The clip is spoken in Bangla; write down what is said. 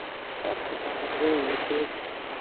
একই ছাদের নিচে